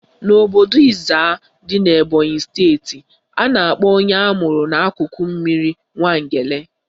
N'obodo Ezza dị n'Ebonyi steeti, a na-akpọ onye amụrụ n'akụkụ mmiri Nwangele